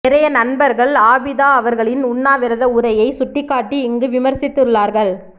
நிறைய நண்பர்கள் ஆபிதா அவர்களின் உண்ணா விரத உரையை சுட்டிக்காட்டி இங்கு விமர்சித்துள்ளார்கள்